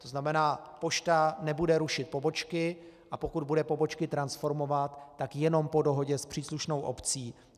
To znamená, pošta nebude rušit pobočky, a pokud bude pobočky transformovat, tak jenom po dohodě s příslušnou obcí.